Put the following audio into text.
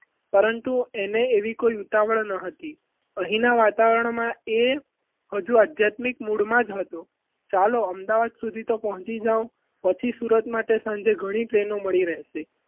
પરંતુ એને એવી કોઈ ઉતાવળ ન હતી. અહીંના વાતાવરણમાં એ હજુ આધ્યાત્મિક મૂળમાં જ હતો ચાલો અમદાવાદ સુધી તો પહોંચી જાવ પછી સુરત માટે સાંજે ઘણી train મળી રહેશે.